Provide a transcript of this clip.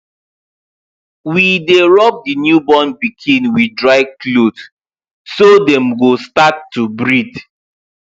we dy rub the new born pikin with dry cloth so dem go start to breath